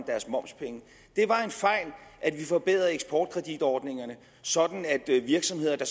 deres momspenge det var en fejl at vi forbedrede eksportkreditordningerne sådan at virksomheder der